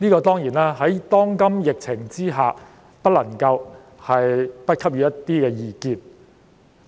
當然，在當今疫情下，我們不能不給予一些意見。